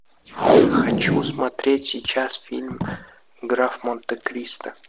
хочу смотреть сейчас фильм граф монте кристо